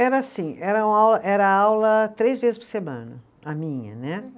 Era assim, era uma aula, era aula três vezes por semana, a minha, né?